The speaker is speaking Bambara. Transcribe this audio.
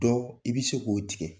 Dɔ i bɛ se k'o tigɛ.